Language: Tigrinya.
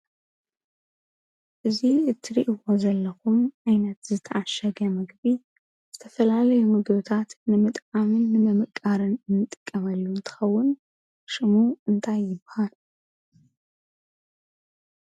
እዚ እተሪእዎ ዘለኹም ዓይነት ዝተዓሸገ ምግቢ ዝተፈላለዩ ምግብታት ንምጥዓምን ንምምቃርን እንጥቀመሉ እንትኸውን ሽሙ እንታይ ይበሃል ?